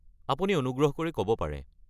আপুনি অনুগ্ৰহ কৰি ক’ব পাৰে।